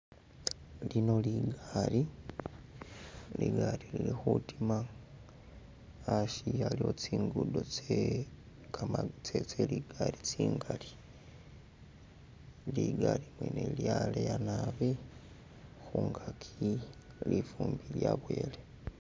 Lino ligaali , ligaali lili khutima, asi aliwo tsingudo tse kama tse tse ligaali tsingali, ligaali mwene lyaleya naabi khungaki lifumbi lyaboyele.